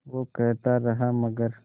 वो कहता रहा मगर